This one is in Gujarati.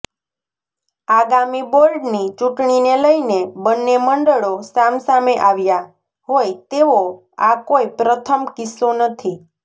આગામી બોર્ડની ચૂંટણીને લઈને બંને મંડળો સામસામે આવ્યા હોય તેવો આ કોઈ પ્રથમ કિસ્સો નથી